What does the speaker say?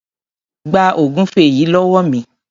Gba ògúnfẹ yìí lówó mi.